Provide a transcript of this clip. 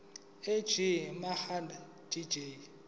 ej mhlanga jj